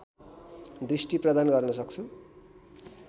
दृष्टि प्रदान गर्न सक्छु